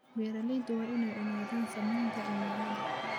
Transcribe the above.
Beeralayda waa inay ogaadaan saamaynta cimiladu.